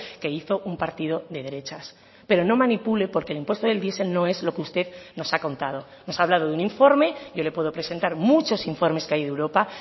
que hizo un partido de derechas pero no manipule porque el impuesto del diesel no es lo que usted nos ha contado nos ha hablado de un informe yo le puedo presentar muchos informes que hay de europa